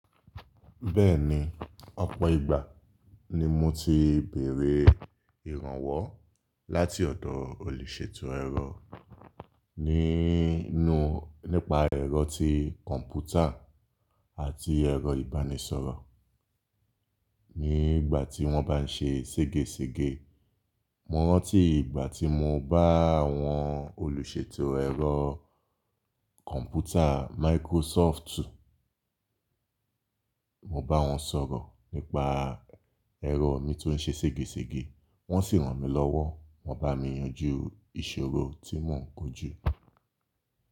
Bẹ́ẹ̀ni, ọ̀pọ̀ ìgbà ni mo ti béèrè ìrànwọ́ láti ọ̀dọ̀ olùṣètò ẹ̀rọ, nínú nípa ẹ̀rọ ti kọ̀npútà àti ẹ̀rọ ìbánisọ̀rọ̀. Ní ìgbà tí wọ́n bá ń ṣe ségesège. Mo rántí ìgbà tí mo bá àwọn olùṣètò ẹ̀rọ kọ̀npútà Microsoftu, mo bá wọn sọ̀rọ̀ nípa ẹ̀rọ mi tó ń ṣe ségesège, wọ́n sì ran mi lọ́wọ́, wọ́n bá mi yanjú ìṣòro tí mò ń kojú.